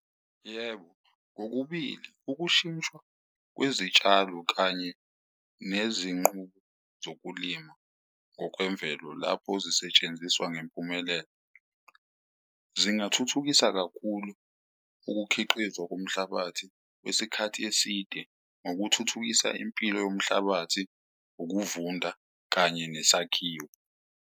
Yebo, kokubili, ukushintshwa kwezitshalo kanye nezinqubo zokulima ngokwemvelo lapho zisetshenziswa ngempumelelo, zingathuthukisa kakhulu ukukhiqizwa komhlabathi kwesikhathi eside ngokuthuthukisa impilo yomhlabathi, ukuvunda, kanye nesakhiwo.